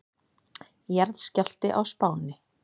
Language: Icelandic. Jarðskjálfti á Spáni